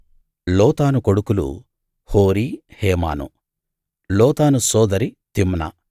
లోతాను కొడుకులు హోరీ హేమాను లోతాను సోదరి తిమ్నా